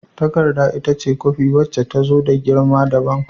Takarda ita ce kwafi wacce ta zo da girma dabam.